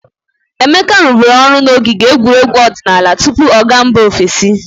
Emeka rụbụrụ ọrụ n'ogige egwuregwu odinaala tupu ọ ga mba ofesi.